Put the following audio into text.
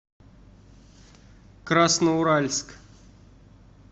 красноуральск